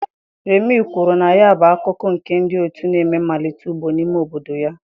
Remi kwuru na ya bụ akụkụ nke ndị otu na-eme mmalite ugbo n'ime obodo ya.